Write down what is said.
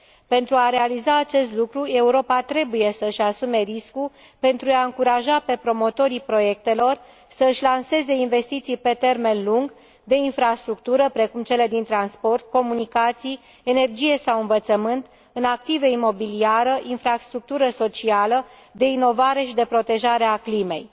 Pentru a realiza acest lucru, Europa trebuie să își asume riscuri pentru a i încuraja pe promotorii proiectelor să își lanseze investiții pe termen lung, în infrastructură, precum cele din transport, comunicații, energie sau învățământ, în active imobiliare, infrastructură socială, inovare și protejarea climei.